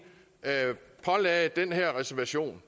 pålagde området den her reservation